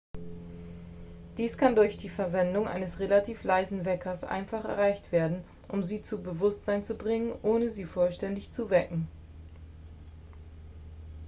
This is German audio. dies kann durch die verwendung eines relativ leisen weckers einfach erreicht werden um sie zu bewusstsein zu bringen ohne sie vollständig zu wecken